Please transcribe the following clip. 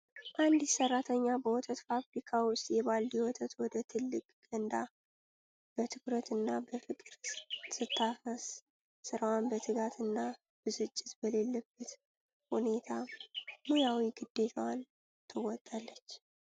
አንዲት ሰራተኛ በወተት ፋብሪካ ውስጥ የባልዲ ወተት ወደ ትልቅ ገንዳ በትኩረት እና በፍቅር ስታፈስ፣ ስራዋን በትጋት እና ብስጭት በሌለበት ሁኔታ ሙያዊ ግዴታዋን ትወጣለች።